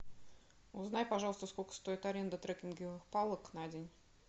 узнай пожалуйста сколько стоит аренда трекинговых палок на день